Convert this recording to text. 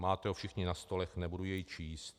Máte ho všichni na stolech, nebudu jej číst.